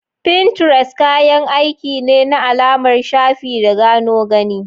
Pinterest kayan aiki ne na alamar shafi da gano gani.